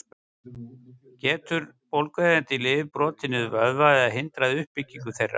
Geta bólgueyðandi lyf brotið niður vöðva eða hindrað uppbyggingu þeirra?